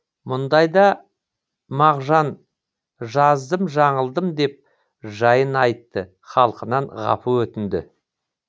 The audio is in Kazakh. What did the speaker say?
мұндайда мағжан жаздым жаңылдым деп жайын айтты халқынан ғапу өтінді